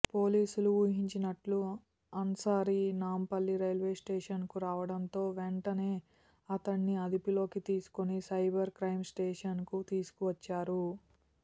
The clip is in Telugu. పోలీసులు ఊహించినట్టు అన్సారీ నాంపల్లి రైల్వేస్టేషన్కు రావడంతో వెంటనే అతడిని అదుపులోకి తీసుకుని సైబర్ క్రైమ్ స్టేషన్కు తీసుకువచ్చారు